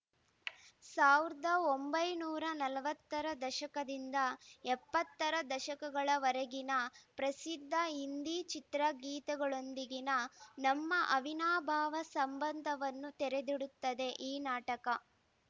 ಸಾವಿರದ ಒಂಬೈನೂರ ನಲವತ್ತ ರ ದಶಕದಿಂದ ಎಪ್ಪತ್ತ ರ ದಶಕಗಳವರೆಗಿನ ಪ್ರಸಿದ್ಧ ಹಿಂದಿ ಚಿತ್ರಗೀತೆಗಳೊಂದಿಗಿನ ನಮ್ಮ ಅವಿನಾಭಾವ ಸಂಬಂಧವನ್ನು ತೆರೆದಿಡುತ್ತದೆ ಈ ನಾಟಕ